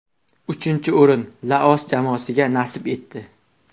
Uchinchi o‘rin Laos jamoasiga nasib etdi.